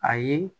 Ayi